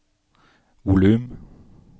volum